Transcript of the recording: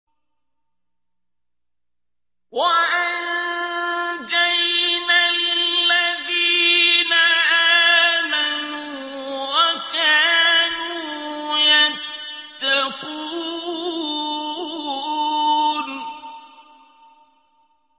وَأَنجَيْنَا الَّذِينَ آمَنُوا وَكَانُوا يَتَّقُونَ